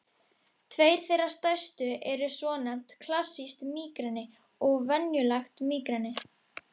Tveir þeirra stærstu eru svonefnt klassískt mígreni og venjulegt mígreni.